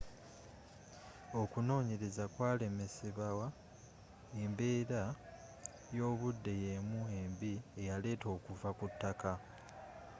okunonyereza kwalemesebawa embeera y'obudde y'emu embi eyaleeta okuva kutaka